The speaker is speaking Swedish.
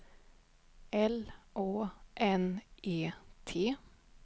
L Å N E T